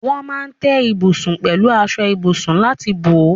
Wọ́n máa ń tẹ́ ibùsùn pẹ̀lú aṣọ ibùsùn láti bò ó.